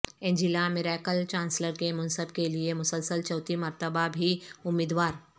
Angela Merkel chancellor کے منصب کے لیے مسلسل چوتھی مرتبہ بھی امیدوار